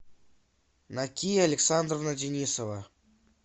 накия александровна денисова